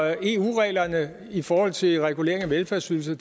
eu reglerne i forhold til regulering af velfærdsydelserne